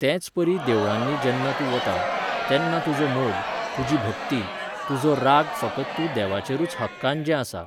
तेचपरी देवळांनी जेन्ना तूं वता, तेन्ना तुजो मोग, तुजी भक्ती, तुजो राग फकत तूं देवाचेरूच हक्कान जें आसा